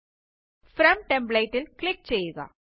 from template ല് click ചെയ്യുക